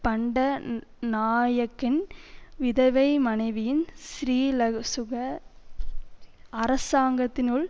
பண்டநாயக்கின் விதவை மனைவியின் ஸ்ரீலசுக அரசாங்கத்தினுள்